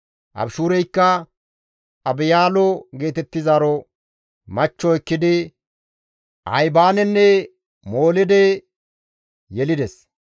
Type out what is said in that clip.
Abishuureykka Abihaylo geetettizaaro machcho ekkidi Ahibaanenne Moolide yelides.